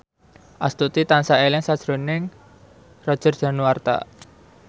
Astuti tansah eling sakjroning Roger Danuarta